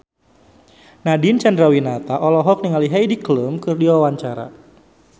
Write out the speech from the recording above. Nadine Chandrawinata olohok ningali Heidi Klum keur diwawancara